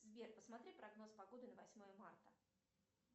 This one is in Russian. сбер посмотри прогноз погоды на восьмое марта